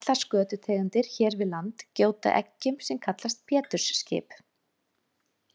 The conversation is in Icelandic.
Allar skötutegundirnar hér við land gjóta eggjum sem kallast pétursskip.